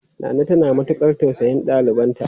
Nana tana matukar tausayin ɗalibanta.